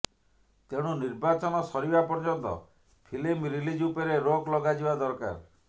ତେଣୁ ନିର୍ବାଚନ ସରିବା ପର୍ଯ୍ୟନ୍ତ ଫିଲ୍ମ ରିଲିଜ୍ ଉପରେ ରୋକ ଲଗାଯିବା ଦରକାର